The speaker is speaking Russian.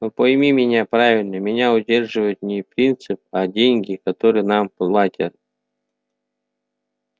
но пойми меня правильно меня удерживает не принцип а деньги которые нам платят